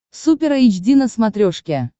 супер эйч ди на смотрешке